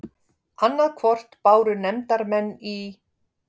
Annað hvort báru nefndarmenn í